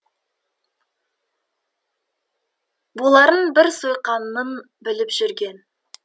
боларын бір сойқанның біліп жүрген